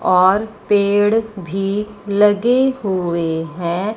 और पेड़ भी लगे हुए हैं।